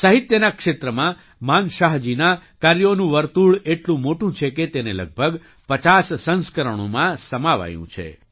સાહિત્યના ક્ષેત્રમાં માનશાહજીનાં કાર્યોનું વર્તુળ એટલું મોટું છે કે તેને લગભગ 5૦ સંસ્કરણોમાં સમાવાયું છે